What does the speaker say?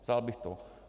Vzal bych to.